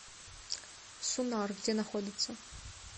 сунар где находится